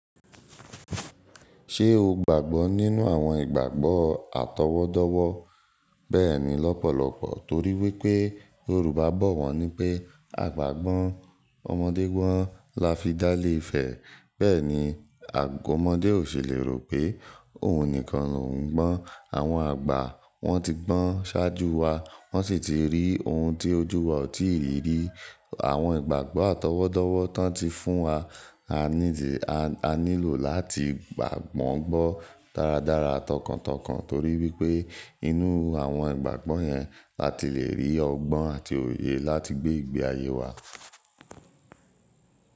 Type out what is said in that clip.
Ṣé o gbàgbọ́ nínú àwọn ìgbàgbọ́ àtọwọ́dọ́wọ́? Bẹ́ẹ̀ni lọ́pọ̀lọpọ̀ torí wípé Yorùbá bọ̀ wọ́n wípé "àgbà gbọ́n, ọmọdé gbọ́n la fi dálé ifẹ̀". Bẹ́ẹ̀ ni, ọmọdé ò ṣèlérò pé òun nìkan ló ń gbọ́n. Àwọn àgbà wọ́n ti gbọ́n ṣáájú wa, wọ́n sì ti rí ohun tí ojú wa ò tíì rí. Àwọn ìgbàgbọ́ àtọwọ́dọ́wọ́ tán tí fún wa. A nílò láti gbà won gbọ́ dáradára tọkàntọkàn torí wípé inú àwọn ìgbàgbọ́ yẹn, la ti le rí ọgbọ́n àti òye láti gbé ìgbé ayé wa.